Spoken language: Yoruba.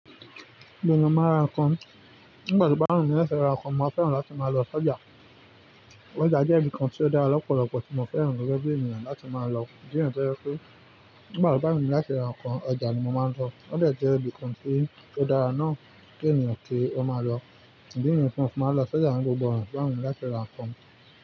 Gbogbo ènìyàn máa ra nǹkan. Nígbà tí ó bà wùn mi láti ra nǹkan, mo máa ń fẹ́ràn láti máa lọ sọ́jà. Ọ́jà jẹ́ ibi kan tí ó dára lọ́pọ̀lọpọ̀ tí mo fẹ́ràn gẹ́gẹ́ bí ènìyàn láti máa lọ. Díẹ̀ tó jẹ̀ pé nígbà tó bá wùn mi láti ra nǹkan, ọjà ni mo máa ń lọ. Ọ́dẹ̀ jẹ́ ibi kan tí ó dára náà kí ènìyàn kí ó máa lọ. Idí nì yìí tí mó fi máa ń lọ sọ́jà ní gbogbo ona tó bá wù ú mí láti ra nǹkan.